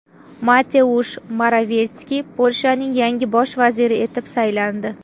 Mateush Moravetskiy Polshaning yangi bosh vaziri etib saylandi.